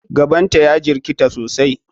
Gaban ta ya jirkata sosai.